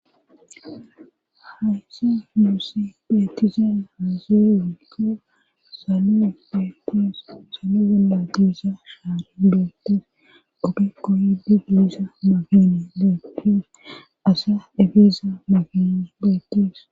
haysa nusi petisen hazewikko saloe betes salo gonda gisa hari detes obekoyidi giisa mafene de pes asa efeza mafinni betes